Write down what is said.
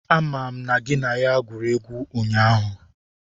Amam na gị na ya gwuru egwu ụnyahụ!